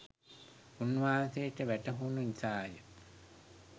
උන්වහන්සේට වැටහුණු නිසා ය.